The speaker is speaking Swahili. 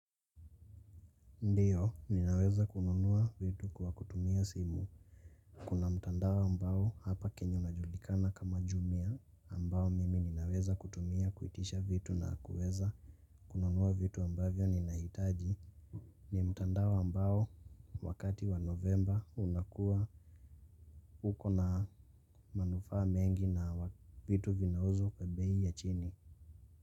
Ndiyo, ninaweza kununua vitu kwa kutumia simu. Kuna mtandao ambao hapa Kenya unajulikana kama Jumia, ambao mimi ninaweza kutumia kuitisha vitu na kuweza kununua vitu ambavyo ninahitaji. Ni mtandao ambao wakati wa Novemba unakua uko na manufaa mengi nawa vitu vinauzwa kwa bei ya chini.